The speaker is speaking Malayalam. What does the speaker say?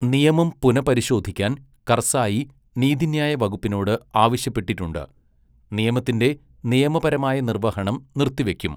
നിയമം പുനപരിശോധിക്കാൻ കർസായി നീതിന്യായ വകുപ്പിനോട് ആവശ്യപ്പെട്ടിട്ടുണ്ട്, നിയമത്തിന്റെ നിയമപരമായ നിർവ്വഹണം നിർത്തിവയ്ക്കും.